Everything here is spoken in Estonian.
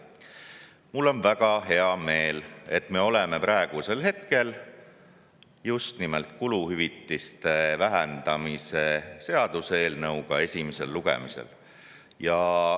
Mul on väga hea meel, et me oleme praegusel hetkel justnimelt kuluhüvitiste vähendamise seaduseelnõu esimesel lugemisel.